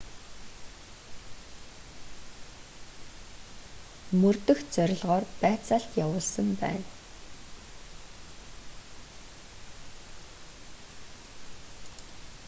мөрдөх зорилгоор байцаалт явуулсан байна